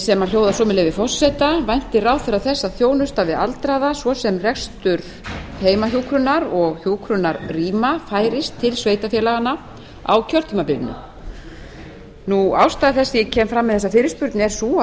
sem hljóðar svo með leyfi forseta væntir ráðherra þess að þjónusta við aldraða svo sem rekstur heimahjúkrunar og hjúkrunarrýma færist til sveitarfélaganna á kjörtímabilinu ástæða þess að ég kem fram með þessa fyrirspurn er sú